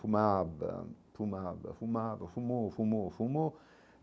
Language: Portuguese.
Fumava, fumava, fumava, fumou, fumou, fumou.